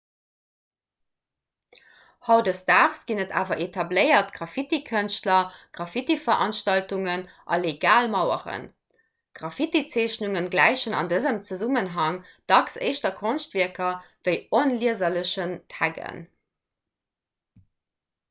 hautdesdaags ginn et awer etabléiert graffitikënschtler graffitiveranstaltungen a legal maueren graffitizeechnungen gläichen an dësem zesummenhang dacks éischter konschtwierker wéi onlieserlechen taggen